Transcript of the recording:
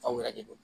Aw yɛrɛ de don